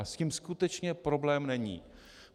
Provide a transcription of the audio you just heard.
A s tím skutečně problém není.